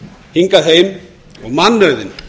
hingað heim og mannauðinn